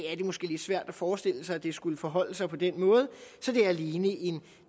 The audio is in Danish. er det måske lidt svært at forestille sig at det skulle forholde sig på den måde så det er alene en